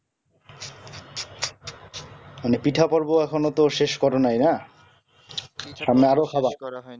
মানে পিঠা পর্ব এখনো তো শেষ করো নাই না সামনে আরো খাবা